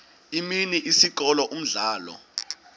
imini isikolo umdlalo